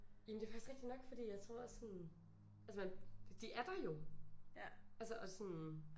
Jamen det er faktisk rigtigt nok fordi jeg tror også sådan altså man de er der jo altså og sådan